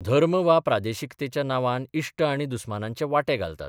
धर्म वा प्रादेशिकतेच्या नांवान इश्ट आनी दुस्मानांचे वांटे घालतात.